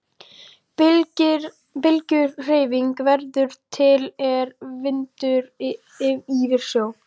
Bylgjuhreyfing verður til er vindur ýfir sjó.